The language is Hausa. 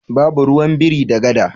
Babu ruwan biri da gada.